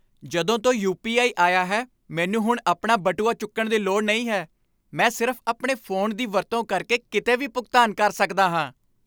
ਜਦੋਂ ਤੋਂ U. P. I. ਆਇਆ ਹੈ, ਮੈਨੂੰ ਹੁਣ ਆਪਣਾ ਬਟੂਆ ਚੁੱਕਣ ਦੀ ਲੋੜ ਨਹੀਂ ਹੈ। ਮੈਂ ਸਿਰਫ਼ ਆਪਣੇ ਫ਼ੋਨ ਦੀ ਵਰਤੋਂ ਕਰਕੇ ਕਿਤੇ ਵੀ ਭੁਗਤਾਨ ਕਰ ਸਕਦਾ ਹਾਂ।